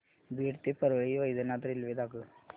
बीड ते परळी वैजनाथ रेल्वे दाखव